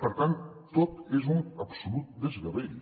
per tant tot és un absolut desgavell